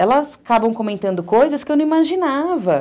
elas acabam comentando coisas que eu não imaginava.